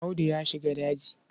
Audu ya shiga daji.